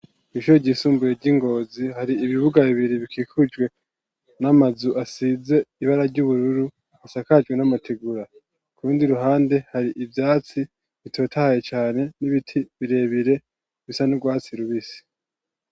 Mishuo ryisumbuye ry'ingozi hari ibibuga bibiri bikikujwe n'amazu asize ibara ry'ubururu isakajwe n'amatigura kubundi ruhande hari ivyatsi bitotahaye cane n'ibiti birebire bisa n'urwatsi rubisi.